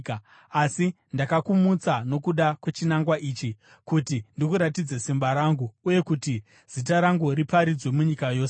Asi ndakakumutsa nokuda kwechinangwa ichi, kuti ndikuratidze simba rangu uye kuti zita rangu riparidzwe munyika yose.